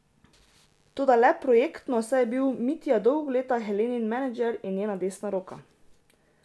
Toda le projektno, saj je bil Mitja dolga leta Helenin menedžer in njena desna roka.